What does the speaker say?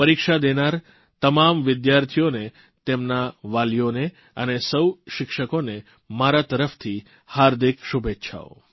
પરીક્ષા દેનારના તમામ વિદ્યાર્થીઓને તેમના વાલીઓને અને સૌ શિક્ષકોને મારા તરફથી હાર્દિક શુભેચ્છાઓ છે